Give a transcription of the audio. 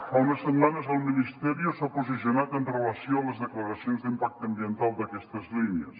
fa unes setmanes el ministerio s’ha posicionat amb relació a les declaracions d’impacte ambiental d’aquestes línies